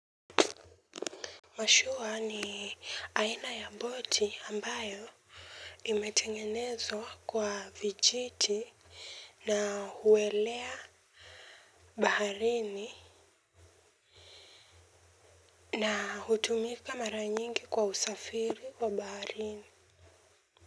Mashua ni aina ya boti ambayo imetengenezwa kwa vijiti na huelea baharini na hutumika mara nyingi kwa usafiri wa baharini.